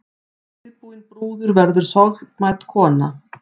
Síðbúin brúður verður sorgmædd kona.